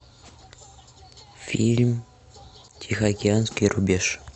фильм тихоокеанский рубеж